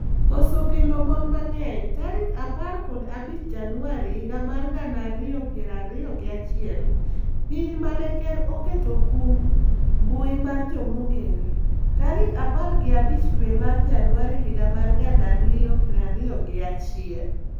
koso kendo mon mang'eny, tarik apar kod abich januari higa mar gana ariyo gi piro ariyo gi achiel, piny mane ker oketo kum mbui mar jomong'ere, tarik apar gi abic dwe mar januari higa mar gana ariyo piri ariyo gi achiel,